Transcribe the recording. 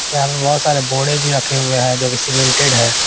यहां पे बहोत सारे बोड़े भी रखे हुए हैं जो की सीमेंटेड है।